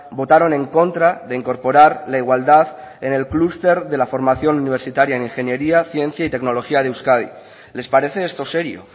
votaron en contra de incorporar la igualdad en el clúster de la formación universitaria en ingeniería ciencia y tecnología de euskadi les parece esto serio